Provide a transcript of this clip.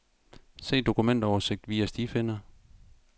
Se dokumentoversigt via stifinder.